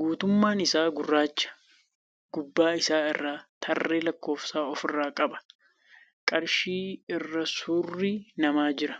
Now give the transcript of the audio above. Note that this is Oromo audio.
guutummaan isaa gurraacha. Gubbaa isaa irraa tarree lakkoofsaa ofirraa qaba. Qarshii irra suurri nama jira.